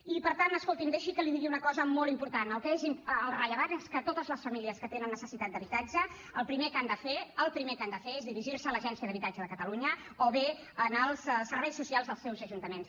i per tant escolti’m deixi que li digui una cosa molt important el rellevant és que totes les famílies que tenen necessitat d’habitatge el primer que han de fer el primer que han de fer és dirigir se a l’agència d’habitatge de catalunya o bé als serveis socials dels seus ajuntaments